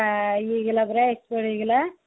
ଇଏ ହେଇଗଲା ପରା accident ହେଇଗଲା